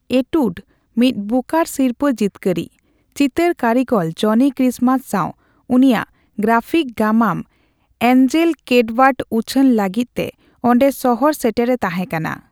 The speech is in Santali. ᱮᱴᱩᱰ, ᱢᱤᱫ ᱵᱩᱠᱟᱨ ᱥᱤᱨᱯᱟᱹ ᱡᱤᱛᱠᱟᱹᱨᱤᱡ, ᱪᱤᱛᱟᱹᱨ ᱠᱟᱹᱨᱤᱜᱚᱞ ᱡᱚᱱᱤ ᱠᱨᱤᱥᱢᱟᱥ ᱥᱟᱣ ᱩᱱᱤᱭᱟᱜ ᱜᱨᱟᱯᱷᱤᱠ ᱜᱟᱢᱟᱢ ᱮᱱᱡᱮᱞ ᱠᱮᱴᱵᱟᱨᱰ ᱩᱪᱷᱟᱹᱱ ᱞᱟᱹᱜᱤᱫ ᱛᱮ ᱚᱸᱰᱮ ᱥᱚᱦᱚᱨ ᱥᱮᱴᱮᱨ ᱮ ᱛᱟᱦᱮᱸᱠᱟᱱᱟ ᱾